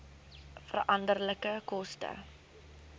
veranderlike koste